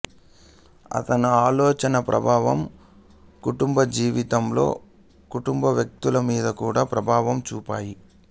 అతను ఆలోచనా ప్రభావం కుటుంబజీవితంలో కుటుంబవ్యక్తుల మీద కూడా ప్రభావం చూపాయి